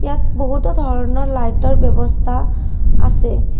ইয়াত বহুতো ধৰণৰ লাইটৰ ব্যবস্থা আছে।